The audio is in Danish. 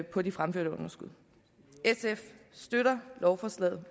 på de fremførte underskud sf støtter lovforslaget